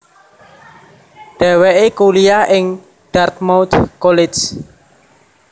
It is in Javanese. Dhèwèké kuliah ing Dartmouth College